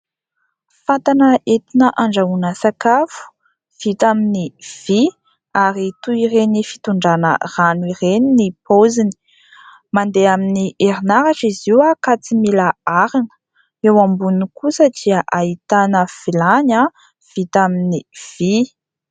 Fatana entina andrahoana sakafo vita amin'ny vy ary toy ireny fitondrana rano ireny ny paoziny, mandeha amin'ny herinaratra izy io ka tsy mila arina, eo amboniny kosa dia ahitana vilany vita amin'ny vy.